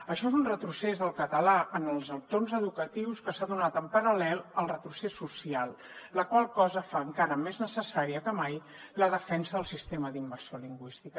això és un retrocés del català en els entorns educatius que s’ha donat en paral·lel al retrocés social la qual cosa fa encara més necessària que mai la defensa del sistema d’immersió lingüística